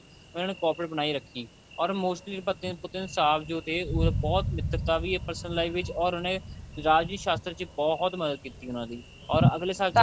ਇਹਨਾ ਨੇ cooperate ਬਣਾਈ ਰੱਖੀ or mostly ਪਤੀਅਨ ਪੁਤੀਅਨ ਸਾਥ ਜੋ ਦੇ ਬਹੁਤ ਮਿੱਤਰਤਾ ਵੀ ਐ personal life ਵਿੱਚ or ਉਹਨੇ ਰਾਜਨੀਤੀ ਸ਼ਾਸਤਰ ਚ ਬਹੁਤ ਮਦਦ ਕੀਤੀ ਉਹਨਾ ਦੀ or ਅਗਲੇ ਸਾਲ